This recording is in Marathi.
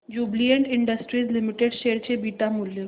ज्युबीलेंट इंडस्ट्रीज लिमिटेड शेअर चे बीटा मूल्य